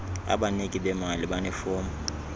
abaniki bemali banefom